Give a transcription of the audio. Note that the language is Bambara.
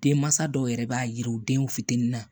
Denmansa dɔw yɛrɛ b'a yiriw denw fitinin na